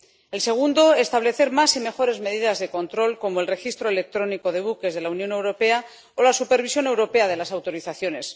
El segundo, establecer más y mejores medidas de control, como el registro electrónico de buques de la Unión Europea o la supervisión europea de las autorizaciones.